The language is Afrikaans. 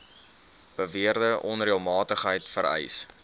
beweerde onreëlmatigheid vereis